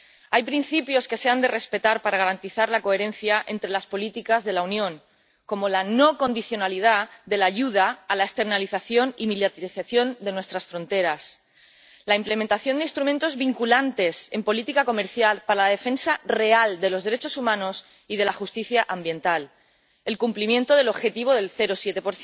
Hay principios que se han de respetar para garantizar la coherencia entre las políticas de la Unión, como la no condicionalidad de la ayuda a la externalización y militarización de nuestras fronteras, la implementación de instrumentos vinculantes en política comercial para la defensa real de los derechos humanos y de la justicia ambiental, el cumplimiento del objetivo del 0,7